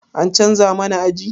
An canza mana aji?